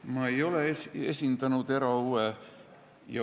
Ma ei ole esindanud erahuve.